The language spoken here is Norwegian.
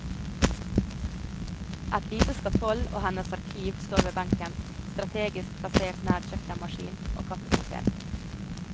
Et lite skatoll og hennes arkiv står ved benken, strategisk plassert nær kjøkkenmaskin og kaffekoker.